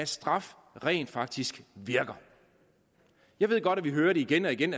straf rent faktisk virker jeg ved godt at vi igen og igen